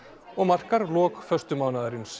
og markar lok